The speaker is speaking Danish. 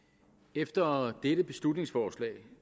efter dette beslutningsforslag